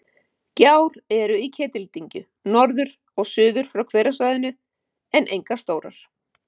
Gjár eru í Ketildyngju, norður og suður frá hverasvæðinu, en engar stórar.